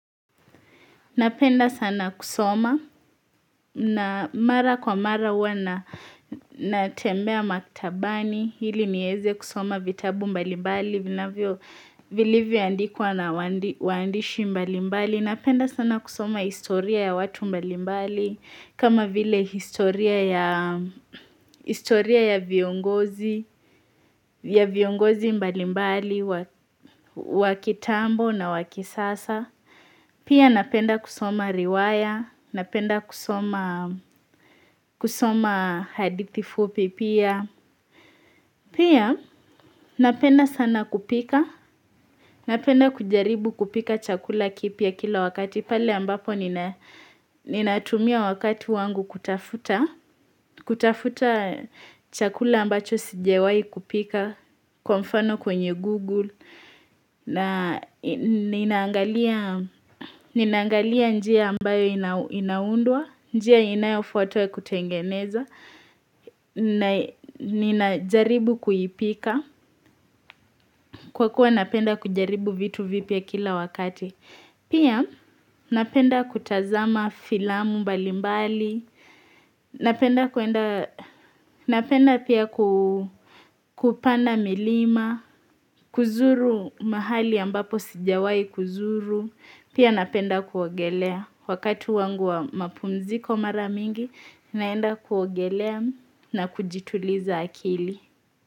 Napenda sana kusoma na mara kwa mara huwana na tembea maktabani ili niweze kusoma vitabu mbali mbali vina vyo vilivyo andikwa na wandishi mbali mbali. Napenda sana kusoma historia ya watu mbali mbali kama vile historia ya viongozi mbali mbali wakitambo na wakisasa. Pia napenda kusoma riwaya, napenda kusoma hadithi fupi pia, napenda sana kupika, napenda kujaribu kupika chakula kipya kila wakati pale ambapo ninatumia wakati wangu kutafuta, kutafuta chakula ambacho sijawai kupika Kwa mfano kwenye Google na Ninaangalia njia ambayo inaundwa njia inayofuatwa kutengeneza Nina jaribu kuipika Kwa kuwa napenda kujaribu vitu vipya kila wakati Pia napenda kutazama filamu mbalimbali Napenda pia kupanda milima, kuzuru mahali ambapo sijawai kuzuru, pia napenda kuogelea wakatu wangu wa mapumziko mara mingi naenda kuogelea na kujituliza akili.